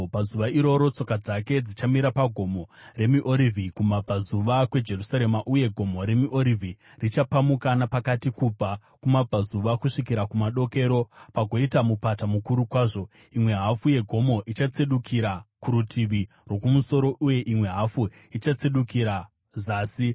Pazuva iroro tsoka dzake dzichamira paGomo reMiorivhi, kumabvazuva kweJerusarema, uye Gomo reMiorivhi richapamuka napakati kubva kumabvazuva kusvikira kumadokero, pagoita mupata mukuru kwazvo, imwe hafu yegomo ichatsedukira kurutivi rwokumusoro uye imwe hafu ichatsedukira zasi.